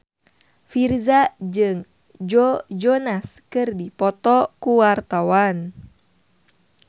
Virzha jeung Joe Jonas keur dipoto ku wartawan